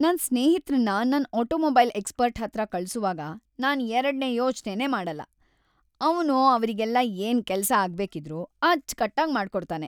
ನನ್ ಸ್ನೇಹಿತ್ರನ್ನ ನನ್ ಆಟೋಮೊಬೈಲ್ ಎಕ್ಸ್ಪರ್ಟ್‌ ಹತ್ರ ಕಳ್ಸುವಾಗ ನಾನ್‌ ಎರಡ್ನೇ ಯೋಚ್ನೆನೇ ಮಾಡಲ್ಲ, ಅವ್ನು ಅವ್ರಿಗೆಲ್ಲ ಏನ್‌ ಕೆಲ್ಸ ಆಗ್ಬೇಕಿದ್ರೂ ಅಚ್ಚ್‌ಕಟ್ಟಾಗ್ ಮಾಡ್ಕೊಡ್ತಾನೆ.